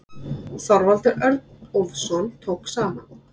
Þorvaldur Örnólfsson tók saman.